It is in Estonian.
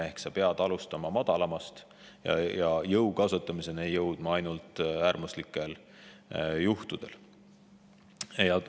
Ehk sa pead alustama madalamast ja jõu kasutamiseni võib asi jõuda ainult äärmuslikel juhtudel.